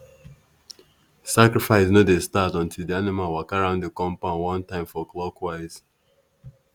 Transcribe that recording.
sacrifice no dey start until di animal waka round di compound one time for clockwise.